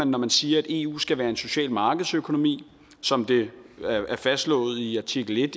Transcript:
når man siger at eu skal være en social markedsøkonomi som det er fastslået i artikel en